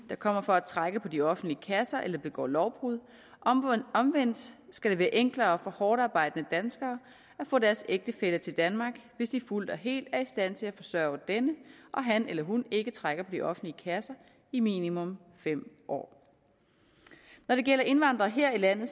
der kommer for at trække på de offentlige kasser eller som begår lovbrud omvendt skal det være enklere for hårdtarbejdende danskere at få deres ægtefælle til danmark hvis de fuldt og helt er i stand til at forsørge denne og han eller hun ikke trækker på de offentlige kasser i minimum fem år når det gælder indvandrere her i landet